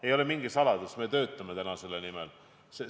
Ei ole mingi saladus, et me töötame täna selle nimel.